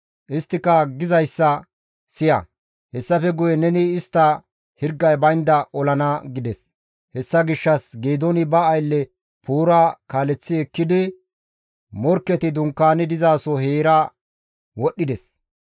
Isttika gizayssa siya; hessafe guye neni istta hirgay baynda olana» gides. Hessa gishshas Geedooni ba aylle Puura kaaleththi ekkidi morkketi dunkaani dizaso heera wodhdhides.